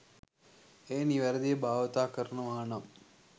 එය නිවැරදිව භාවිතා කරනවානම්